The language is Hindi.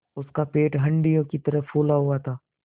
उसका पेट हंडिया की तरह फूला हुआ था